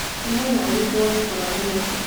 nĩ mwena ũrikũ wonekanga Nairobi